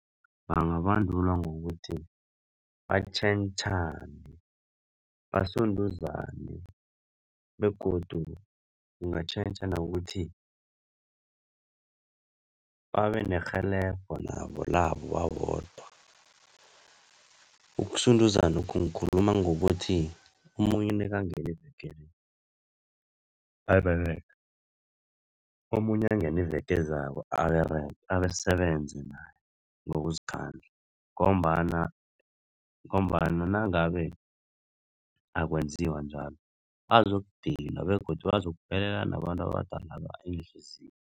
Bangabandulwa ngokuthi batjhentjhane, basunduzane begodu kungatjhentjha nokuthi babenerhelebho nabo labo babodwa. Ukusunduzanokhu ngikhuluma ngokuthi omunye nekangena iveke le, aberega omunye angene iveke ezako abasebenze naye nangokuzikhandla ngombana, ngombana nangabe akwenziwa njalo bazokudinwa begodu uzokuphelela nabantu abadalaba iinhliziyo.